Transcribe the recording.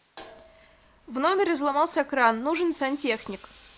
в номере сломался кран нужен сантехник